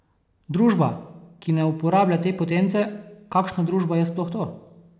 Družba, ki ne uporablja te potence, kakšna družba je sploh to?